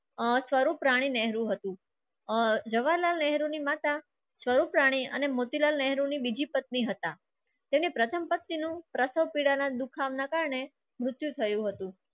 આ સ્વરૂપરાની નહેરુ હતું. ઓર જવાલાલ નહેરુની માતા સ્વરૂપરાની અને મોતીલાલ નહેરુની બીજી પત્ની હતા. તેને પ્રથમ પત્ની નું પ્રથમ પેડા ના દુખાવા ના કારણે મૃત્યુ થયું હતું.